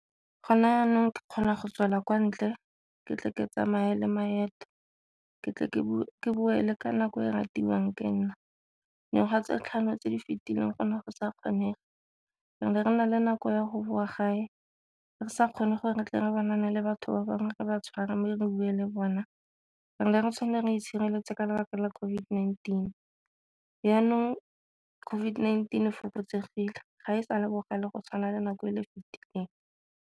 Go na jaanong ke kgona go tswela kwa ntle ke tle ke tsamaye le maeto, ke tle ke boe ka nako e ratiwang ke nna. Ngwaga tse tlhano tse di fetileng go ne go sa kgonege re ne re na le nako ya go boa gae re sa kgone gore re tle re ba na le batho ba bangwe ba tshwara mme re bue le bona, re itshireletse ka lebaka la COVID-19. Jaanong COVID-19 e fokotsegile ga e sa le bogale go tshwana le nako e le e fetileng.